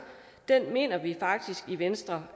mener vi faktisk i venstre